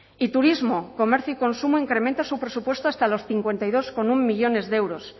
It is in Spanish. y turismo comercio y consumo incrementa su presupuesto hasta los cincuenta y dos coma uno millónes de euros